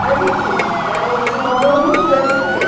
Mas, enfim, era um, tinha um amor muito grande por ele.